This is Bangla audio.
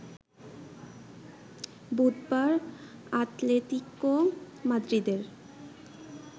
বুধবার আতলেতিকো মাদ্রিদের